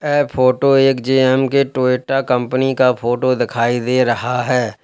ऐ photo एक J M K के Toyota company का फोटो दिखाई दे रहा है।